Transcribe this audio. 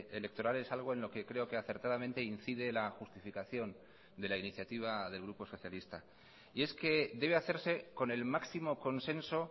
electorales algo en lo que creo que acertadamente incide la justificación de la iniciativa del grupo socialista y es que debe hacerse con el máximo consenso